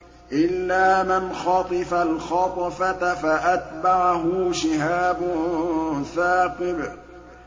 إِلَّا مَنْ خَطِفَ الْخَطْفَةَ فَأَتْبَعَهُ شِهَابٌ ثَاقِبٌ